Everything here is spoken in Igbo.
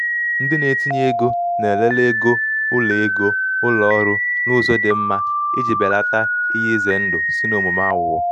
ndị na-etinye ego na-elele ego ụlọ ego ụlọ ọrụ n’ụzọ dị mma iji belata ihe ize ndụ si n’omume aghụghọ.